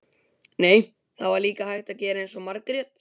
Nei, það var líka hægt að gera eins og Margrét.